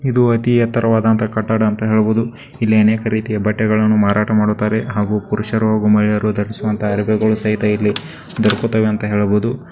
ಇದು ಅತಿ ಎತ್ತರವಾದ ಅಂತ ಕಟ್ಟಡ ಅಂತ ಹೇಳ್ಬಹುದು ಇಲ್ಲಿ ಅನೇಕ ರೀತಿಯ ಬಟ್ಟೆಗಳನ್ನು ಮಾರಾಟ ಮಾಡುತ್ತಾರೆ ಹಾಗು ಪುರುಷರು ಹಾಗು ಮಹಿಳೆಯರು ಧರಿಸುವಂತಹ ಅರ್ಬಿಗಳು ಸಹಿತ ಇಲ್ಲಿ ದೊರಕುತ್ತವೆ ಅಂತ ಹೇಳ್ಬಹುದು.